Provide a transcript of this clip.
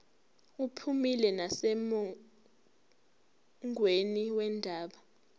uphumile nasemongweni wendaba